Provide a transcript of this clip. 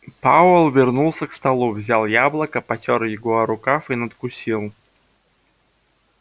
пауэлл вернулся к столу взял яблоко потёр его о рукав и надкусил